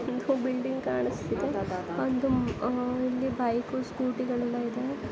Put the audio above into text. ಒಂದು ಬಿಲ್ಡಿಂಗ್ ಕಾಣಿಸಿತ್ತಿದೆ ಮತ್ತು ಅಹ್ ಇಲ್ಲಿ ಬೈಕು ಸ್ಕೂಟಿ ಗಳೆಲ್ಲ ಇದೆ.